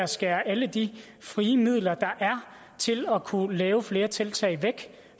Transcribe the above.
skære alle de frie midler der er til at kunne lave flere tiltag væk